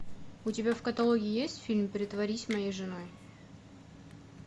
у тебя в каталоге есть фильм притворись моей женой